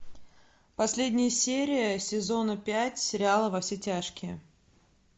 последняя серия сезона пять сериала во все тяжкие